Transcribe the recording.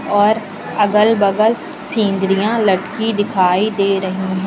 और अगल बगल सिंदरिया लटकी दिखाई दे रही--